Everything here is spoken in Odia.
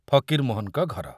ଫକୀରମୋହନଙ୍କ ଘର।